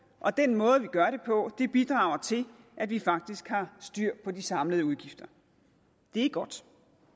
og den måde vi gør det på bidrager til at vi faktisk har styr på de samlede udgifter det er godt